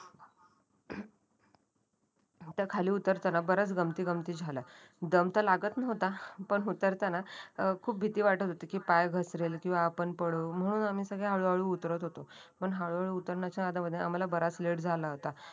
त खाली उतरताना बऱ्याच गमती गमती झाल्या दंम त लागत नव्हता पण उतरताना खूप भीती वाटत होती. कि पाय घसरेल किंवा आपण पडू म्हणून आम्ही सगळे हळूहळू उतरत होतो. पण हळूहळू उतरण्याच्या आदा मदात आम्हाला बराच लेट झाला होता.